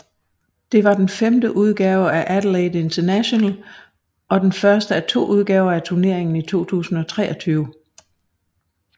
Det var den femte udgave af Adelaide International og den første af to udgaver af turneringen i 2023